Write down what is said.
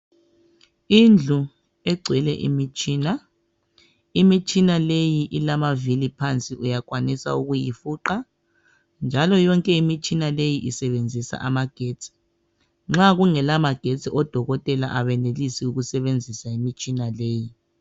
Indlu egcwele imitshina . Imitshina leyi ilama vili phansi uyakwanisa ukuyi fuqa njalo yonke imitshina leyi isebenzisa amagetsi .Nxa kungela magetsi odokotela abenelisi ukusebenzisa imitshina leyi .